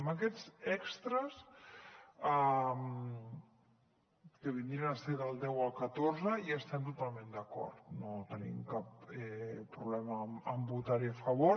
amb aquests extres que vindrien a ser del deu al catorze hi estem totalment d’acord no tenim cap problema amb votar hi a favor